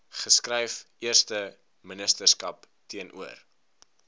geskryf eersteministerskap teenoor